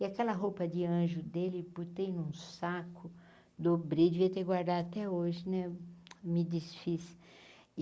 E aquela roupa de anjo dele botei num saco dobrei, devia ter guardado até hoje né, me desfiz.